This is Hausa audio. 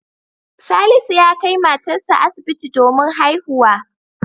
Salisu ya kai matarsa asibiti domin haihuwa.